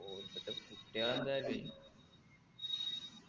phone എടുത്തിട്ട് കുത്തിയാ എന്തായാലുഏ